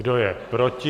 Kdo je proti?